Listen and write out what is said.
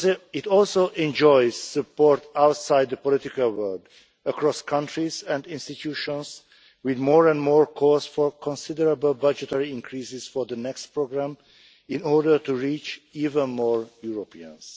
It also enjoys support outside the political world across countries and institutions, with more and more calls for considerable budgetary increases for the next programme in order to reach even more Europeans.